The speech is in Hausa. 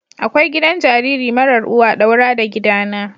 Akwai gidan jariri marar uwa daura da gidana.